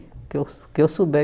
O que eu o que eu souber